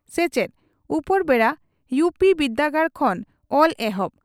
ᱥᱮᱪᱮᱫ ᱺ ᱩᱯᱮᱨᱵᱮᱰᱟ ᱭᱩᱹᱯᱤᱹ ᱵᱤᱨᱫᱟᱹᱜᱟᱲ ᱠᱷᱚᱱ ᱚᱞ ᱮᱦᱚᱵ